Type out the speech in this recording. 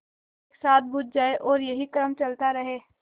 एक साथ बुझ जाएँ और यही क्रम चलता रहे